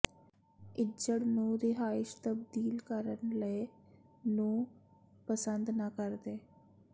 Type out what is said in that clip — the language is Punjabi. ਇੱਜੜ ਨੂੰ ਰਿਹਾਇਸ਼ ਤਬਦੀਲ ਕਰਨ ਲਈ ਨੂੰ ਪਸੰਦ ਨਾ ਕਰਦੇ